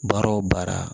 Baara o baara